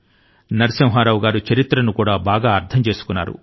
నరసింహారావు గారు చరిత్ర ను కూడా బాగా అర్ధం చేసుకున్నారు